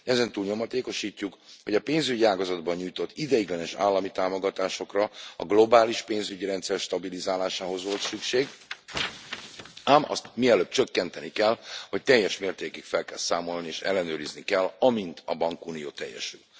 Ezen túl nyomatékosítjuk, hogy a pénzügyi ágazatban nyújtott ideiglenes állami támogatásokra a globális pénzügyi rendszer stabilizálásához volt szükség, ám azt mielőbb csökkenteni kell, vagy teljes mértékig fel kell számolni és ellenőrizni kell, amint a bankunió teljesül.